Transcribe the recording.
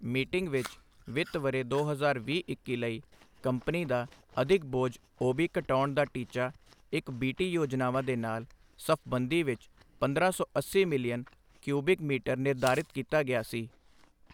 Meeting ਵਿੱਚ ਵਿੱਤ ਵਰ੍ਹੇ ਦੋ ਹਜ਼ਾਰ ਵੀਹ-ਇੱਕੀ ਲਈ ਕੰਪਨੀ ਦਾ ਅਧਿਕ ਬੋਝ ਓਬੀ ਕਟਾਉਣ ਦਾ ਟੀਚਾ ਇਕ ਬੀਟੀ ਯੋਜਨਾਵਾਂ ਦੇ ਨਾਲ ਸਫਬੰਦੀ ਵਿੱਚ ਪੰਦਰਾਂ ਸੌ ਅੱਸੀ ਮਿਲੀਅਨ ਕਿਊਬਿਕ ਮੀਟਰ ਨਿਰਧਾਰਿਤ ਕੀਤਾ ਗਿਆ ਸੀ।